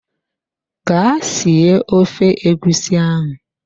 Gaa sie ofe egusi ahụ!